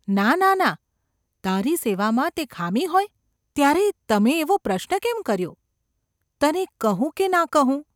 ‘ના, ના, ના ! તારી સેવામાં તે ખામી હોય ?’ ‘ત્યારે તમે એવો પ્રશ્ન કેમ કર્યો ?’​ ‘તને કહું કે ના કહું?